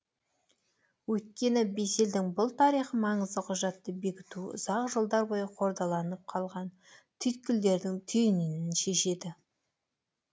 өйткені бес елдің бұл тарихы маңызды құжатты бекітуі ұзақ жылдар бойы қордаланып қалған түйткілдердің түйінін шешеді